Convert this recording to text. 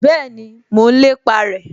Bẹ́ẹ̀ni, mo n lépa rẹ